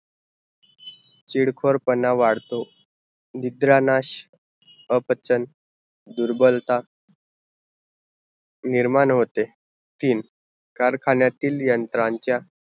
चिडखोरपाना वाढतो, निद्रानाश, अपचन, दुर्बलता, निर्माण होते, तीन कारखान्यातील यंत्रांचा